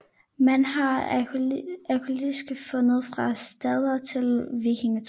Man har arkæologiske fund fra stenalder til vikingetid